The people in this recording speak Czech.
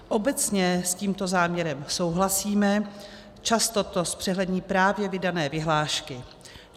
Obecně s tímto záměrem souhlasíme, často to zpřehlední právě vydané vyhlášky.